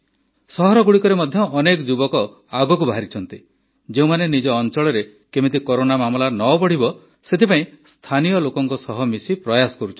ସହରଗୁଡ଼ିକରେ ମଧ୍ୟ ଅନେକ ଯୁବକ ଆଗକୁ ବାହାରିଛନ୍ତି ଯେଉଁମାନେ ନିଜ ଅଂଚଳରେ କିପରି କରୋନା ମାମଲା ନ ବଢ଼ିବ ସେଥିପାଇଁ ସ୍ଥାନୀୟ ଲୋକଙ୍କ ସହ ମିଶି ପ୍ରୟାସ କରୁଛନ୍ତି